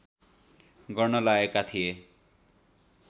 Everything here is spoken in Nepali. गर्न लगाएका थिए